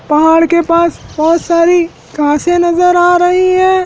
पहाड़ के पास बहोत सारी घासे नजर आ रही है।